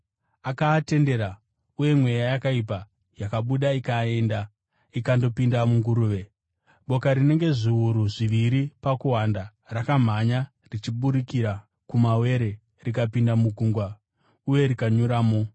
Akaatendera, uye mweya yakaipa yakabuda ikaenda ikandopinda munguruve. Boka rinenge zviuru zviviri pakuwanda, rakamhanya richiburukira kumawere rikapinda mugungwa uye rikanyuramo.